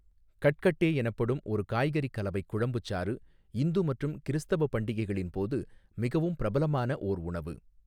கட்கட்டே எனப்படும் ஒரு காய்கறிக் கலவைக் குழம்புச்சாறு இந்து மற்றும் கிறிஸ்தவ பண்டிகைகளின் போது மிகவும் பிரபலமான ஓர் உணவு.